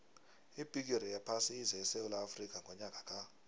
ibhigiri yephasi ize esewula afrika ngonyaka ka